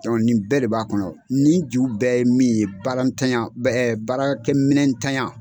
nin bɛɛ de b'a kɔnɔ, ni ju bɛɛ ye min ye, baara n tanɲa, baarakɛ minɛn tanɲan.